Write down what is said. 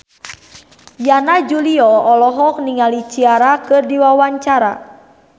Yana Julio olohok ningali Ciara keur diwawancara